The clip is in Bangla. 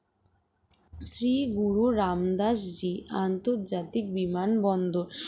শ্রী গুরু রামদাস জি আন্তর্জাতিক বিমানবন্দর